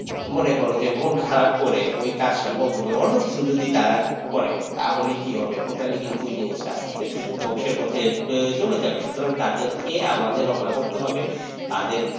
মনে করো যে মন খারাপ করে ওই কাজটা বন্ধ করে অন্য কিছু যদি তারা করে তাহলে কি হবে totally কিন্তু এই জিনিসটা আস্তে আস্তে ধ্বংসের পথে চলে যাবে সুতরাং তাদেরকে আমাদের রক্ষা করতে হবে তাদের,